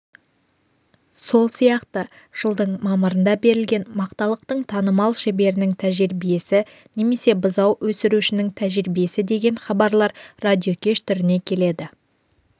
сол сияқты жыдың мамырында берілген мақталықтың танымал шеберінің тәжірибесі немесе бұзау өсірушінің тәжірибесі деген хабарлар радиокеш түріне келеді